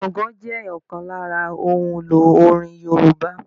Gángan jẹ ọ̀kan lára ohun èlò orin Yorùbá